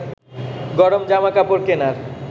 গরম জামা কাপড় কেনার